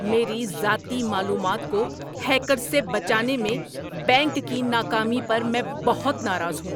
میری ذاتی معلومات کو ہیکرز سے بچانے میں بینک کی ناکامی پر میں بہت ناراض ہوں۔